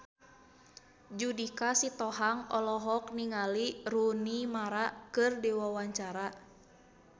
Judika Sitohang olohok ningali Rooney Mara keur diwawancara